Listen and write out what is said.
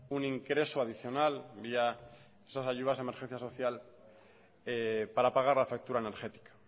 un ingreso adicional vía esas ayudas de emergencia social para pagar la factura energética